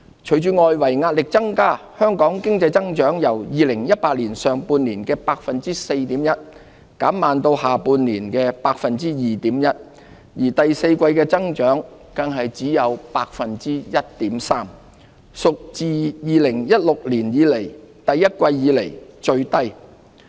隨着外圍壓力增加，香港經濟增長由2018年上半年的 4.1%， 減慢至下半年的 2.1%， 而第四季的增幅更只有 1.3%， 屬2016年第一季以來最低。